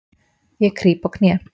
Ég krýp á kné.